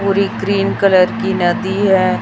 Puri cream colour की नदी है।